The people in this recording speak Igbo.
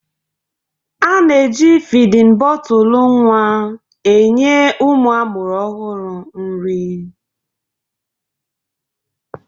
A na-eji fidin bọtụlụ nwa enye ụmụ a mụrụ ọhụrụ nri.